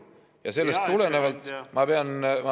Ja sellest tulenevalt ma pean küll ütlema ...